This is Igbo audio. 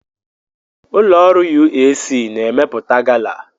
Ụlọ ọrụ UAC na-emepụta gala.